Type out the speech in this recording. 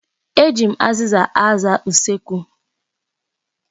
Eji m azịza aza usekwu.